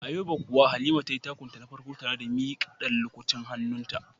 A yobe kuwa Halima tayi takun ta na farko tare da mika dan lukutin hannunta.